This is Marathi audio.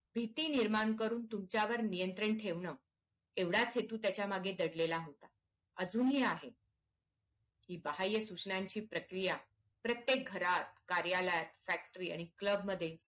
भीती निर्माण करून तुमच्यावर नियंत्रण ठेवणं एवढाच हेतू त्याच्या मागे दडलेला होता अजूनहि आहे हि बाह्यसुचनांची प्रक्रिया प्रत्येक घरात कार्यलयात factory आणि club मध्ये